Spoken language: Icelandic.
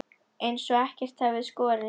Eins og ekkert hafi í skorist.